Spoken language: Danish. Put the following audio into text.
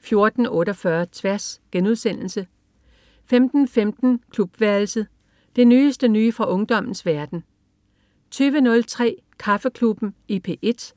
14.48 Tværs* 15.15 Klubværelset. Det nyeste nye fra ungdommens verden 20.03 Kaffeklubben i P1*